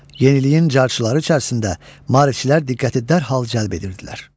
Yeniliyin cərcçıları içərisində maarifçilər diqqəti dərhal cəlb edirdilər.